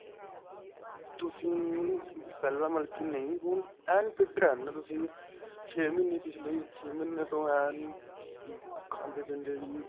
ਤੁਸੀਂ ਪਹਿਲਾਂ ਮਤਲਬ ਕੀ ਨਹੀਂ ਹੋਈ ਐਨ fit ਰਹਿੰਦੇ ਹੋ ਤੁਸੀਂ ਛੇ ਮਹੀਨੇ ਪਿੱਛਲੇ ਛੇ ਮਹੀਨੇ ਤੋ ਐਨ ਖਾਦੇਂ ਪੀਂਦੇ ਸੀ